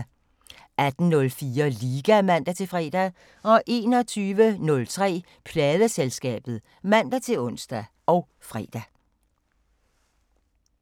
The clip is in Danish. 18:04: Liga (man-fre) 21:03: Pladeselskabet (man-ons og fre)